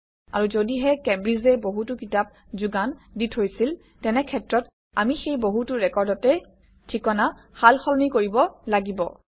আৰু যদিহে কেম্ব্ৰিজে বহুতো কিতাপ যোগান দি থৈছিল তেনে ক্ষেত্ৰত আমি সেই বহুতো ৰেকৰ্ডতে ঠিকনা সালসলনি কৰিব লাগিব